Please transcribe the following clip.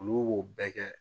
Olu b'o bɛɛ kɛ